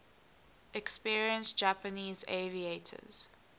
experienced japanese aviators